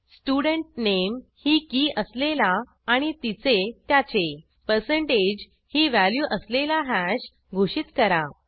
student nameही की असलेला आणि तिचेत्याचे पर्सेंटेज ही व्हॅल्यू असलेला हॅश घोषित करा